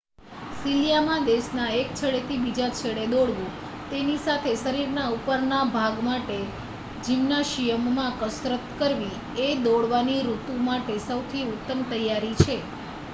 શિયાલામાં દેશના એક છેડેથી બીજે છેડે દોડવું તેની સાથે શરીરના ઉપરના ભાગ માટે જિમ્નાશિયમમાં કસરત કરવી એ દોડવાની ઋતુ માટે સૌથી ઉત્તમ તૈયારી છે